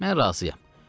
Mən razıyam.